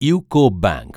UCO bank